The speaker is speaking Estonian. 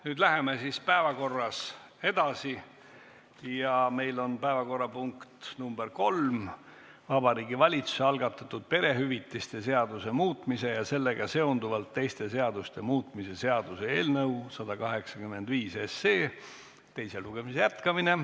Nüüd läheme päevakorraga edasi ja meil on punkt nr 3, Vabariigi Valitsuse algatatud perehüvitiste seaduste muutmise ja sellega seonduvalt teiste seaduste muutmise seaduse eelnõu 185 teise lugemise jätkamine.